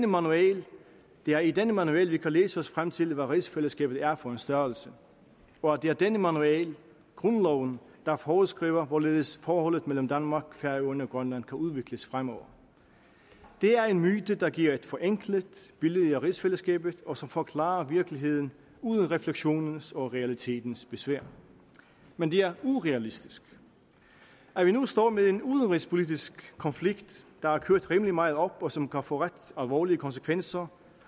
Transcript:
manual det er i denne manual vi kan læse os frem til hvad rigsfællesskabet er for en størrelse og det er denne manual grundloven der foreskriver hvorledes forholdet mellem danmark færøerne og grønland kan udvikles fremover det er en myte der giver et forenklet billede af rigsfællesskabet og som forklarer virkeligheden uden refleksionens og realitetens besvær men det er urealistisk at vi nu står med en udenrigspolitisk konflikt der er kørt rimelig meget op og som kan få ret alvorlige konsekvenser